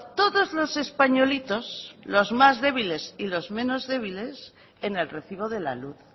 todos los españolitos los más débiles y los menos débiles en el recibo de la luz